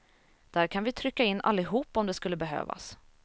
Där kan vi trycka in allihop om det skulle behövas.